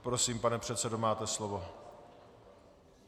Prosím, pane předsedo, máte slovo.